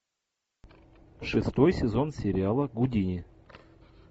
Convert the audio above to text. шестой сезон сериала гудини